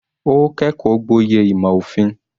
Ó kẹ́kọ̀ọ́ gboyè ìmò òfin.